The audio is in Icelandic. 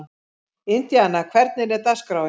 Indíana, hvernig er dagskráin?